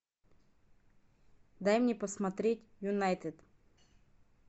дай мне посмотреть юнайтед